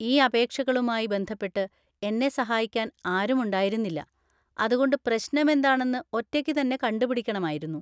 ഈ അപേക്ഷകളുമായി ബന്ധപ്പെട്ട് എന്നെ സഹായിക്കാൻ ആരുമുണ്ടായിരുന്നില്ല, അതുകൊണ്ട് പ്രശ്നമെന്താണെന്ന് ഒറ്റയ്ക്കുതന്നെ കണ്ടുപിടിക്കണമായിരുന്നു.